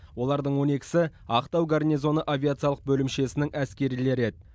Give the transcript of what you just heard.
олардың он екісі ақтау гарнизоны авиациялық бөлімшесінің әскерилері еді